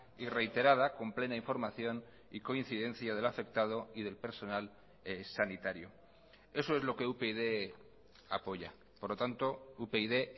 y reiterada con plena información y coincidencia del afectado y del personal sanitario eso es lo que upyd apoya por lo tanto upyd